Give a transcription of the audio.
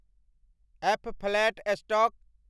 F. Flat stock